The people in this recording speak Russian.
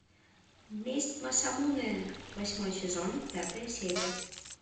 месть масамунэ восьмой сезон пятая серия